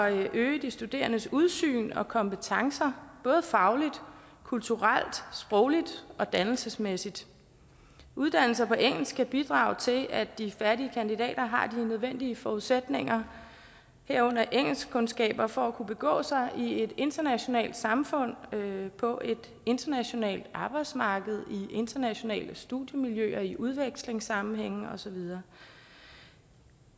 øge de studerendes udsyn og kompetencer både fagligt kulturelt sprogligt og dannelsesmæssigt uddannelser på engelsk kan bidrage til at de færdige kandidater har de nødvendige forudsætninger herunder engelskkundskaber for at kunne begå sig i et internationalt samfund på et internationalt arbejdsmarked i internationale studiemiljøer i udvekslingssammenhænge og så videre